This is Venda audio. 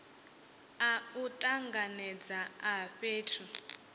a u tanganedza a fhethu